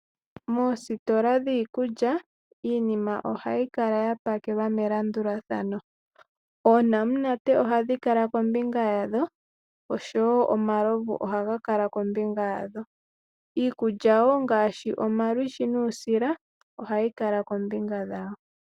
Moositola dhiikulya iinima ohayi kala ya pakelwa melandulathano oonamunate ohadhi kala kombinga yadho oshowo omalovu ohaga kala kombinga yadho iikulya woo ngaashi omalwishi nuusila ohayi kala kombinga yawo.